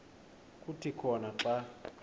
kuthi khona xa